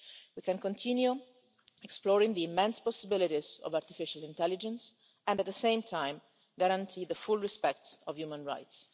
We can continue exploring the immense possibilities of artificial intelligence and, at the same time, guarantee full respect for human rights.